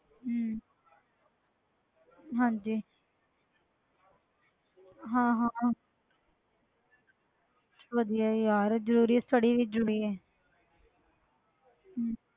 ਹਮ ਹਾਂਜੀ ਹਾਂ ਹਾਂ ਵਧੀਆ ਯਾਰ ਜ਼ਰੂਰੀ ਹੈ study ਵੀ ਜ਼ਰੂਰੀ ਹੈ ਹਮ